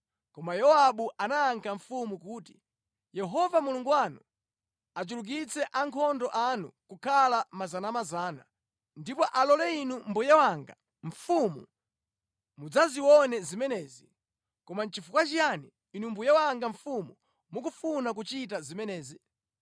Koma Yowabu anayankha mfumu kuti, “Yehova Mulungu wanu achulukitse ankhondo anu kukhala miyandamiyanda, ndipo alole inu mbuye wanga mfumu mudzazione zimenezi. Koma nʼchifukwa chiyani inu mbuye wanga mfumu mukufuna kuchita zimenezi?”